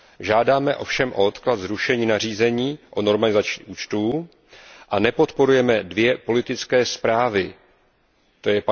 Žádáme ovšem o odklad zrušení nařízení o normalizaci účtů a nepodporujeme dvě politické zprávy, tj.